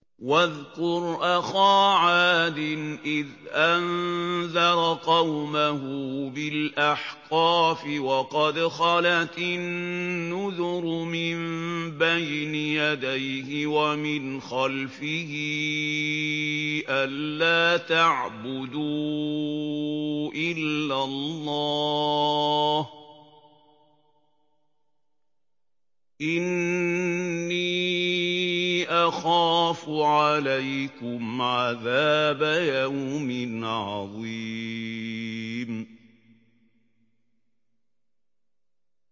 ۞ وَاذْكُرْ أَخَا عَادٍ إِذْ أَنذَرَ قَوْمَهُ بِالْأَحْقَافِ وَقَدْ خَلَتِ النُّذُرُ مِن بَيْنِ يَدَيْهِ وَمِنْ خَلْفِهِ أَلَّا تَعْبُدُوا إِلَّا اللَّهَ إِنِّي أَخَافُ عَلَيْكُمْ عَذَابَ يَوْمٍ عَظِيمٍ